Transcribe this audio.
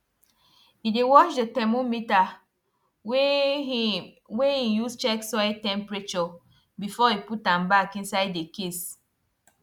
e dey wash the thermometer wey he wey he use check soil temperature before he put am back inside the case